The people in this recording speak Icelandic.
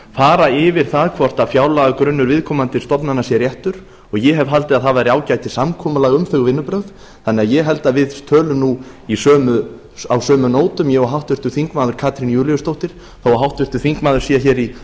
fara yfir það hvort fjárlagagrunnur viðkomandi stofnana sé réttur og ég hef haldið að það væri ágætis samkoulag um þau vinnubrögð þannig að ég held að við tölum nú á sömu nótum ég og háttvirtur þingmaður katrín júlíusdóttir þó að háttvirtur þingmaður sé hér í